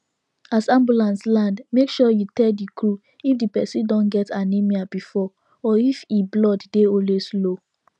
as ambulance land make sure you tell the crew if the person don get anaemia before or if e blood dey always low